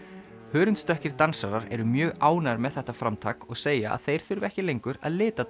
hörundsdökkir dansarar eru mjög ánægðir með þetta framtak og segja að þeir þurfi ekki lengur að lita